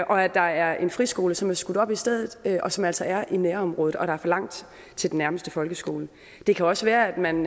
og at der er en friskole som er skudt op i stedet og som altså er i nærområdet og der er for langt til den nærmeste folkeskole det kan også være at man